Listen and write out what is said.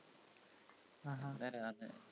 ആഹാ